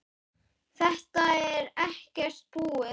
Þetta er ekkert búið.